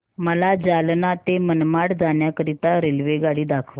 मला जालना ते मनमाड जाण्याकरीता रेल्वेगाडी दाखवा